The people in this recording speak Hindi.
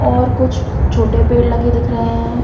और कुछ छोटे पेड़ लगे दिख रहे हैं ।